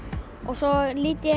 svo lít ég